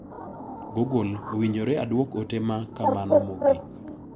Google. Owinjore aduok ote ma kakamo mogik